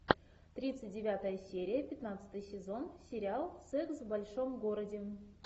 тридцать девятая серия пятнадцатый сезон сериал секс в большом городе